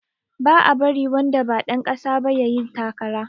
Ba a bari wanda ba ɗan ƙasa ba yayi takara